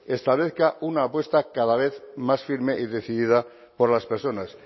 establezca una apuesta cada vez más firme y decidida por las personas